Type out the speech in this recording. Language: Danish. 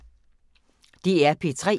DR P3